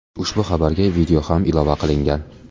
Ushbu xabarga video ham ilova qilingan .